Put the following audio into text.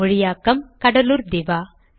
மொழியாக்கம் கடலூர் திவா